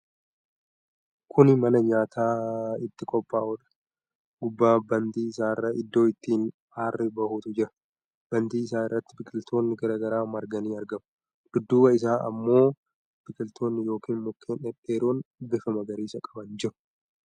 Kuni mana nyaati itti qophaa'udha. Gubbaa bantii isaarra iddoo ittiin aarri bahutu jira. Bantii isaa irratti biqiltoonni garaagaraa marganii argamu. Dudduuba isaa ammoo biqiltoonni yookiin mukkeen dhedheeroon bifa magariisa qaban jiru.